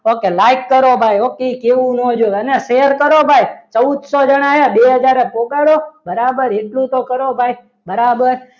okay like કરો ભાઈ અને share કરો ભાઈ ચૌદસો જણાને પોકાડો બરાબર એટલું તો કરો ભાઈ બરાબર